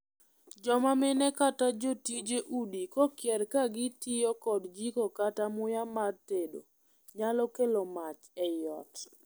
Joma mine kata jotije udi kokier ka gitiyo kod jiko kata muya mar tedo nyalo kelo mach ei ot.